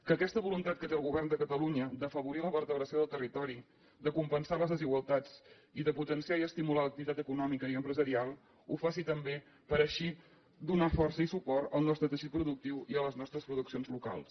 que aquesta voluntat que té el govern de catalunya d’afavorir la vertebració del territori de compensar les desigualtats i de potenciar i estimular l’activitat econòmica i empresarial ho faci també per així donar força i suport al nostre teixit productiu i a les nostres produccions locals